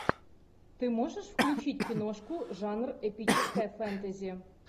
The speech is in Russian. ты можешь включить киношку жанр эпическое фэнтези